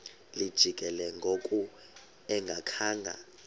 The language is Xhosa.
lijikile ngoku engakhanga